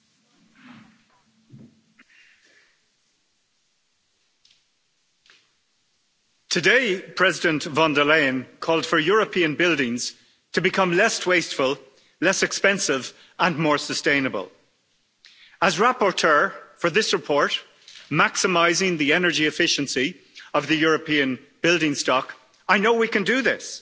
Madam President, today, President von der Leyen called for European buildings to become less wasteful, less expensive and more sustainable. As rapporteur for this report, maximising the energy efficiency of the European building stock, I know we can do this.